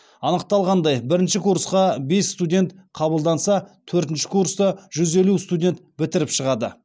анықталғандай бірінші курсқа бес студент қабылданса төртінші курсты жүз елу студент бітіріп шығады